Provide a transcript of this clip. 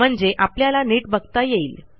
म्हणजे आपल्याला नीट बघता येईल